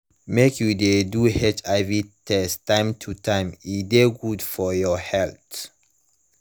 mk u de do hiv test time to time e de good for ur health